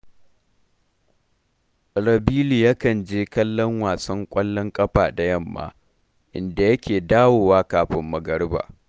Rabilu yakan je kallon wasan ƙwallon ƙafa da yamma, inda yake dawowa kafin magariba